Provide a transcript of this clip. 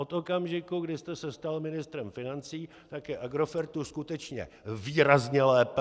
Od okamžiku, kdy jste se stal ministrem financí, tak je Agrofertu skutečně výrazně lépe .